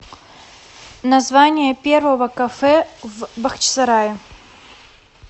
название первого кафе в бахчисарае